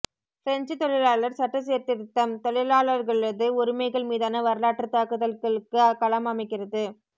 French தொழிலாளர் சட்ட சீர்திருத்தம் தொழிலாளர்களது உரிமைகள் மீதான வரலாற்று தாக்குதல்களுக்குக் களம் அமைக்கிறது